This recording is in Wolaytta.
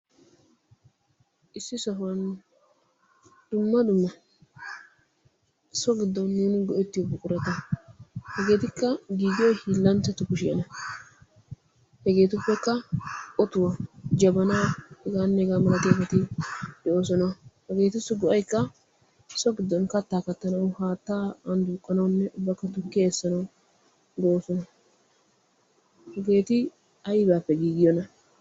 issi sohuwan dumma dumma so giddon neeni go'ettiyo guqurata hageetikka giigiyo hiillanttattu kushiyana hegeetuppekka otuwaa jabana hegaannegaa maatiefati de'iyoosona? hageeti so ga'aykka so giddon kattaa kattanau haattaa andduuqqanaunne ubbakka tukki eessana goosona hageeti aybaappe giigiyoona?